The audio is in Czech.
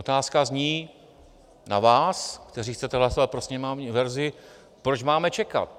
Otázka zní na vás, kteří chcete hlasovat pro sněmovní verzi, proč máme čekat?